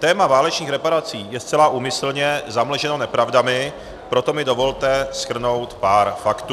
Téma válečných reparací je zcela úmyslně zamlženo nepravdami, proto mi dovolte shrnout pár faktů.